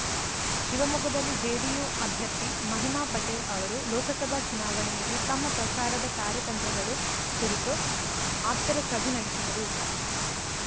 ಶಿವಮೊಗ್ಗದಲ್ಲಿ ಜೆಡಿಯು ಅಭ್ಯರ್ಥಿ ಮಹಿಮಾ ಪಟೇಲ್‌ ಅವರು ಲೋಕಸಭಾ ಚುನಾವಣೆಯಲ್ಲಿ ತಮ್ಮ ಪ್ರಚಾರದ ಕಾರ್ಯತಂತ್ರಗಳು ಕುರಿತು ಆಪ್ತರ ಸಭೆ ನಡೆಸಿದರು